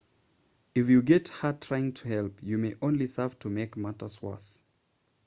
if you get hurt trying to help you may only serve to make matters worse